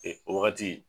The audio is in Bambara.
Ee wagati